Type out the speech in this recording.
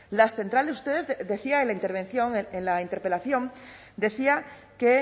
las centrales ustedes decía en la intervención en la interpelación decía que